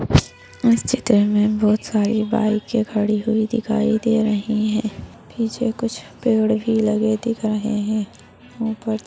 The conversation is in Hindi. इस चित्र में बहोत सारी बाइकें खड़ी हुई दिखाई दे रही हैंपीछे कुछ पेड़ भी लगे दिख रहे हैंऊपर --